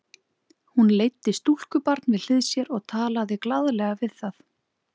Hún leiddi stúlkubarn við hlið sér og talaði glaðlega við það.